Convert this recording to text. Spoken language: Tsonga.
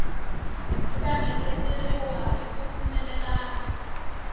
nga engeteriwa hi ku pfumelelana